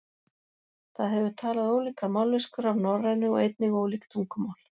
Það hefur talað ólíkar mállýskur af norrænu og einnig ólík tungumál.